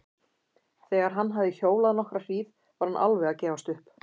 Þegar hann hafði hjólað nokkra hríð var hann alveg að gefast upp.